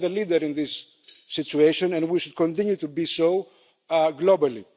We are the leader in this situation, and we should continue to be so globally.